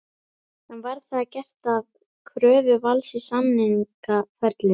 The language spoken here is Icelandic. En var það gert að kröfu Vals í samningaferlinu?